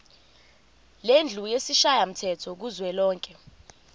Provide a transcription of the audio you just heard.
lendlu yesishayamthetho kuzwelonke